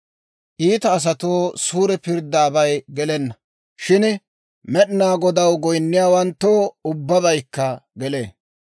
Iita asatoo suure pirddaabay gelenna; shin Med'inaa Godaw goyinniyaawanttoo ubbabaykka gelee.